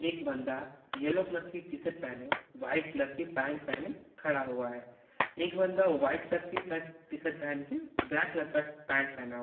एक बंदा yellow colour की टीशर्ट पहने वाइट कलर की पैंट पहने खड़ा हुआ है एक बंदा वाइट शर्ट की शर्ट टीशर्ट पहन के ब्लैक कलर का पैंट पहना--